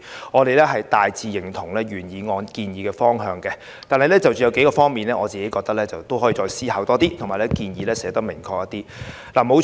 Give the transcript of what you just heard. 我們大致認同原議案建議的方向，但我認為有數個方面可以再作思考，而相關建議亦可表達得更明確。